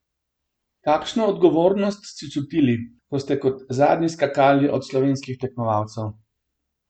Kakšno odgovornost ste čutili, ko ste kot zadnji skakali od slovenskih tekmovalcev?